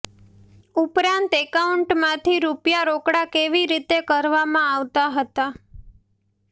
ઉપરાંત એકાઉન્ટમાંથી રૂપિયા રોકડા કેવી રીતે કરવામાં આવતા હતા